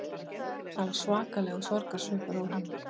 Það var svakalegur sorgarsvipur á honum